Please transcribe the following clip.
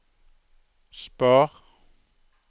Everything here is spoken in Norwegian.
spar